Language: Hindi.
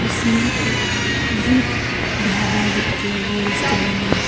इसमें एक विप ढाबा लिख के वो रेस्टोरेंट में--